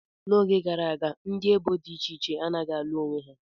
Oge gara aga, ndị ebo dị iche iche anaghị alụ onwe ha.